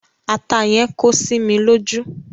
Ata yẹn kó sí mi lójú.